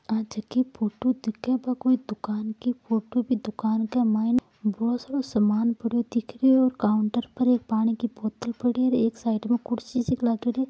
यह फोटो भी दिख रही है कोई दुकान की दुकान का बहुत सारो समान पड़ो दिखरो है काउंटर पर एक पानी की बोतल भी पड़ी है एक साइड पर कुर्सी लग रही है।